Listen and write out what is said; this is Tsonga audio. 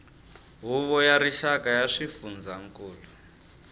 huvo ya rixaka ya swifundzankulu